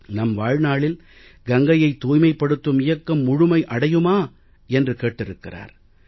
நம் வாழ்நாளில் கங்கையை தூய்மைப்படுத்தும் இயக்கம் முழுமை அடையுமா என்று கேட்டிருக்கிறார்